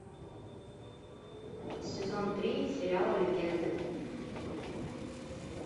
сезон три сериала легенды